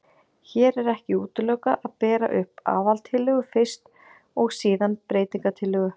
Hér er ekki útilokað að bera upp aðaltillögu fyrst og síðan breytingatillögu.